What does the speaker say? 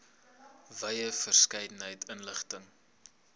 wye verskeidenheid inligting